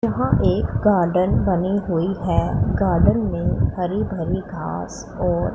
यहां एक गार्डन बनी हुई है गार्डन में हरी भरी घास और--